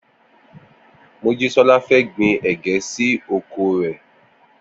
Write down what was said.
Mojísọ́lá fẹ́ gbin ẹ̀gẹ́ sí oko rè.